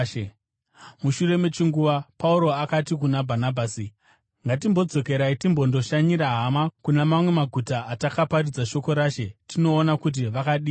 Mushure mechinguva Pauro akati kuna Bhanabhasi, “Ngatimbodzokera timbondoshanyira hama kuna mamwe maguta atakaparidza shoko raShe tinoona kuti vakadii zvavo.”